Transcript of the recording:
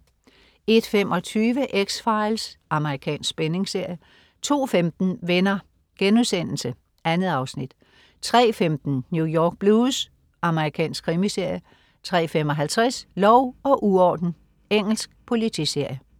01.25 X-Files. Amerikansk spændingsserie 02.15 Venner.* 2 afsnit 03.15 New York Blues. Amerikansk krimiserie 03.55 Lov og uorden. Engelsk politiserie